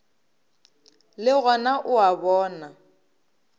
le gona o a bona